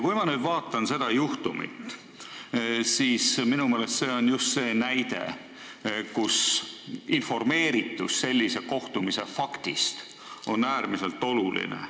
Kui ma nüüd vaatan seda juhtumit, siis minu meelest on see just näide sellest, kus informeeritus kohtumise faktist on äärmiselt oluline.